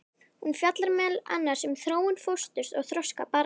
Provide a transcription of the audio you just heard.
Hún fjallar meðal annars um þróun fósturs og þroska barna.